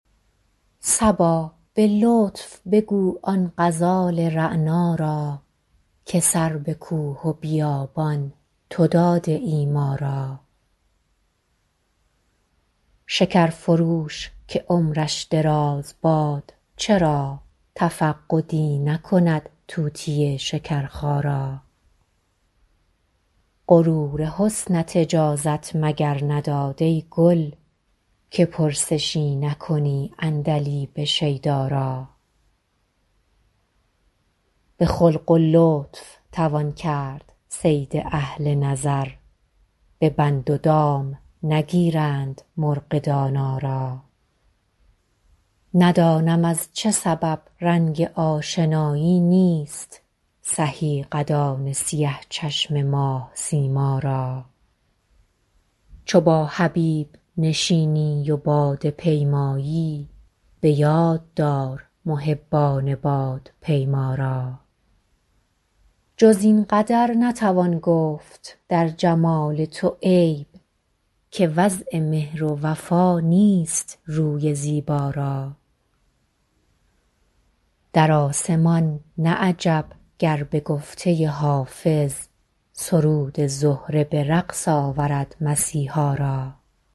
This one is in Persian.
صبا به لطف بگو آن غزال رعنا را که سر به کوه و بیابان تو داده ای ما را شکر فروش که عمرش دراز باد چرا تفقدی نکند طوطی شکرخا را غرور حسنت اجازت مگر نداد ای گل که پرسشی نکنی عندلیب شیدا را به خلق و لطف توان کرد صید اهل نظر به بند و دام نگیرند مرغ دانا را ندانم از چه سبب رنگ آشنایی نیست سهی قدان سیه چشم ماه سیما را چو با حبیب نشینی و باده پیمایی به یاد دار محبان بادپیما را جز این قدر نتوان گفت در جمال تو عیب که وضع مهر و وفا نیست روی زیبا را در آسمان نه عجب گر به گفته حافظ سرود زهره به رقص آورد مسیحا را